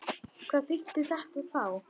Hvað þýddi þetta þá?